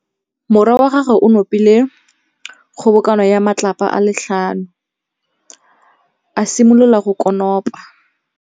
Morwa wa gagwe o nopile kgobokanô ya matlapa a le tlhano, a simolola go konopa.